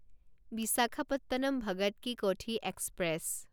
Visakhapatnam Bhagat ki Kothi express